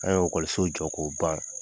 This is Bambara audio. An y'o ekɔliso jɔ k'o ban